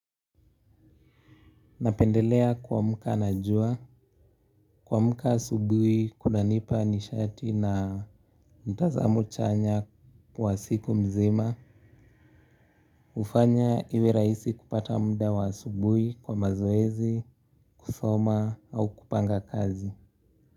Napendelea kuamka na jua, kuamka asubuhi kunanipa nishati na mtazamo chanya wa siku mzima hufanya iwe rahisi kupata muda wa asubuhi kwa mazoezi, kusoma au kupanga kazi.